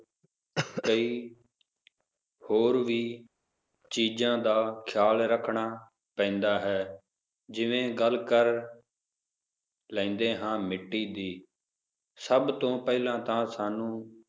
ਕਈ ਹੋਰ ਵੀ ਚੀਜਾਂ ਦਾ ਖਿਆਲ ਰੱਖਣਾ ਪੈਂਦਾ ਹੈ ਜਿਵੇ ਗੱਲ ਕਰ ਲੈਂਦੇ ਹਾਂ ਮਿੱਟੀ ਦੀ, ਸਭ ਤੋਂ ਪਹਿਲਾਂ ਤਾ ਸਾਨੂੰ,